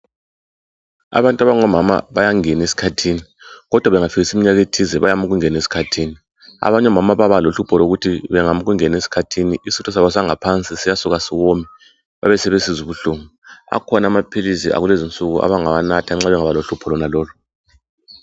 Abantu abangomama bayangena esikhathini kodwa bengafikisa imnyaka ethize bayama ukungena esikhathini. Abanye omama bayaba lohlupho lokuthi bengama ukungena esikhathini isitho sangaphansi siyasuka siwome besebesizwa ubuhlungu. Akhona amaphilisi akulezi nsuku abangawanatha nxa bangaba lohlupho lonalolu.